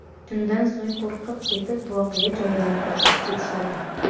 Shundan so‘ng qo‘rqib ketib, voqea joyidan qochib ketishadi.